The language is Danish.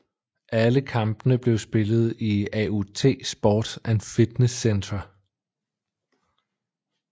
Alle kampene blev spillet i AUT Sport and Fitness Centre